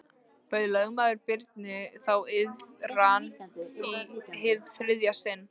Bauð lögmaður Birni þá iðran í hið þriðja sinn.